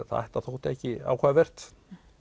þetta þótti ekki áhugavert